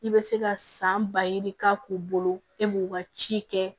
I bɛ se ka san ba yiri k'a k'u bolo e b'u ka ci kɛ